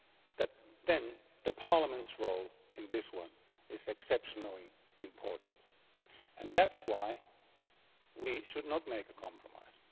that Parliament's role in this one is exceptionally important and that is why we should not make a compromise.